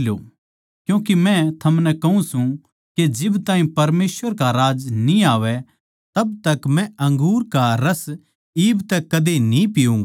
क्यूँके के मै थमनै कहूँ सूं के जिब ताहीं परमेसवर का राज्य न्ही आवै तब तक मै अंगूर का रस इब तै कदे न्ही पिऊँगा